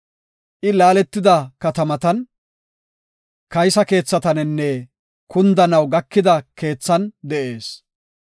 I laaletida katamatan, kaysa keethaninne, kundanaw gakida keethan de7ees.